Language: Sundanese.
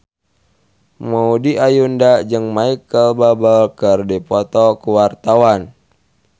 Maudy Ayunda jeung Micheal Bubble keur dipoto ku wartawan